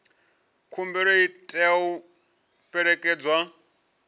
khumbelo i tea u fhelekedzwa